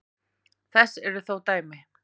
Þess eru þó dæmi.